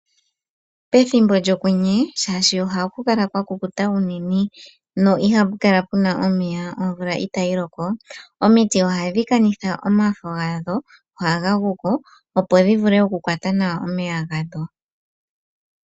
Pethimbo lyokwenye shaashi ohaku kala kwakukuta unene shaashi omvula itayi loko omiti ohadhi kanitha omafo gadho ohaga guko opo dhivule okukwata nawa omeya gadho